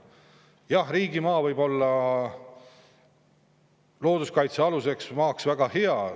Jah, riigimaa võib olla looduskaitsealuseks maaks väga hea.